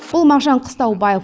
бұл мағжан қыстаубаев